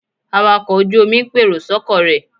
Awakọ̀ ojú-omi ń pèrò sọ́kọ̀ rẹ̀